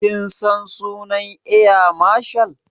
Kin san sunan eya marshal?